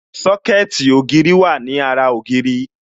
Sọ́kẹ̀tì ògiri wà ní ara ògiri